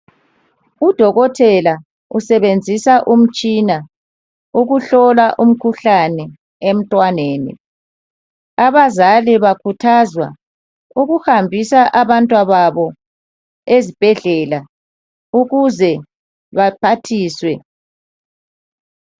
Udokotela usebenzisa umtshina ukuhlola umkhuhlane emntwaneni abazali bakhuthazwa ukuhambisa abantwana babo ezibhedlela ukuze baphathiswe